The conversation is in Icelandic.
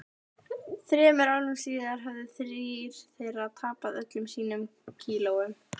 Þremur árum síðar höfðu þrír þeirra tapað öllum sínum kílóum.